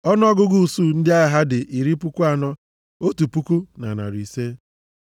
Ọnụọgụgụ usuu ndị agha ha dị iri puku anọ, otu puku na narị ise (41,500).